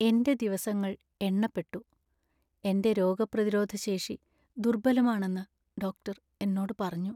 എന്‍റെ ദിവസങ്ങൾ എണ്ണപ്പെട്ടു. എന്‍റെ രോഗപ്രതിരോധ ശേഷി ദുർബലാണെന്നു ഡോക്ടർ എന്നോട് പറഞ്ഞു.